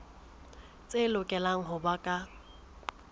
tse lokelang ho ba ka